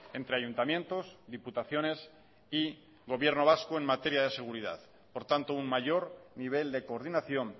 entre ayuntamientos diputaciones y gobierno vasco en materia de seguridad por tanto un mayor nivel de coordinación